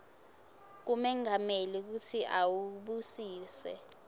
kumengameli kutsi awubusise